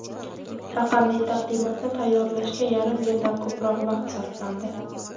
Raqamli taqdimotni tayyorlashga yarim yildan ko‘proq vaqt sarflandi.